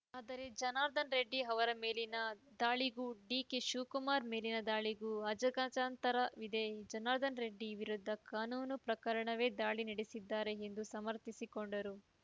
ಆದರೆ ಜನಾರ್ದನ ರೆಡ್ಡಿ ಅವರ ಮೇಲಿನ ದಾಳಿಗೂ ಡಿಕೆ ಶಿವಕುಮಾರ್‌ ಮೇಲಿನ ದಾಳಿಗೂ ಅಜಗಜಾಂತರವಿದೆ ಜನಾರ್ದನ ರೆಡ್ಡಿ ವಿರುದ್ದ ಕಾನೂನು ಪ್ರಕಾರವೇ ದಾಳಿ ನಡೆಸಿದ್ದಾರೆ ಎಂದು ಸಮರ್ಥಿಸಿಕೊಂಡರು